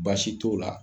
Baasi t'o la